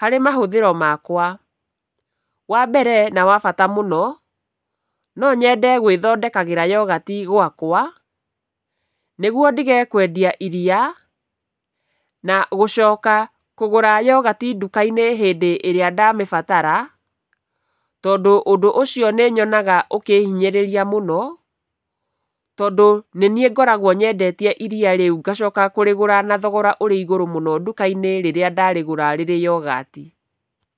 harĩ mahũthĩro makwa. Wambere na wa bata mũno, no nyende gwĩthondekagĩra yogati gwakwa, nĩguo ndigage kwendagia iriya na gũcoka kũgũra yogati nduka-inĩ hĩndĩ ĩrĩa ndamĩbatara, tondũ ũndũ ũcio nĩyonaga ũkĩhinyĩrĩria mũno. Tondũ nĩniĩ ngoragwo nyendetie iriya rĩu ngacoka kũrĩgũra na thogora ũrĩ igũrũ mũno nduka-inĩ rĩrĩa ndarĩgũra rĩrĩ yogati.